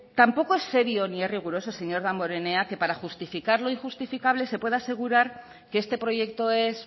tampoco es serio ni es riguroso señor damborenea que para justificar lo injustificable se pueda asegurar que este proyecto es